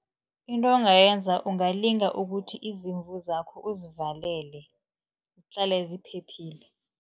Into ongayenza ungalinga ukuthi izimvu zakho uzivalele, zihlale ziphephile.